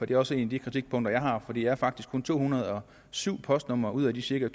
det er også et af de kritikpunkter jeg har for det er faktisk kun to hundrede og syv postnumre ud af de cirka